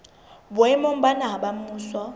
boemong ba naha ba mmuso